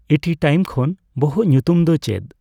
ᱤᱴᱤ time ᱠᱷᱚᱱ ᱵᱚᱦᱚᱜ ᱧᱩᱛᱩᱢ ᱫᱚ ᱪᱮᱫ